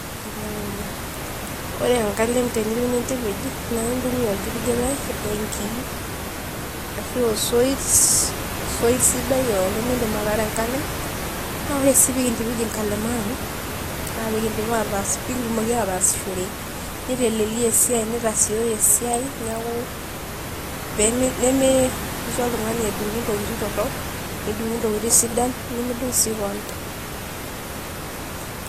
Ore enkalem teniyieu nintipij naa intumia orgirigire we nkii, ashuu osoit sidai oleng lemeidim ataara enkalem. Naa ore sii peyie kintipij inkalema ang naa peyie kitumoki aataasishore neiteleiaki iyook esia netasioyo eiai niaku nemeisho oltungani edungu ntokitin torok nedungu ntokitin sidain, nemedung sii kewon